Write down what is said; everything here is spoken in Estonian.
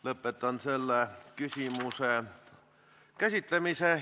Lõpetan selle küsimuse käsitlemise.